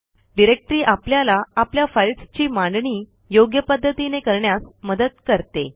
directory आपल्याला आपल्या फाईल्सची मांडणी योग्य पध्दतीने करण्यास मदत करते